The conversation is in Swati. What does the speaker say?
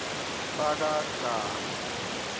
bakagama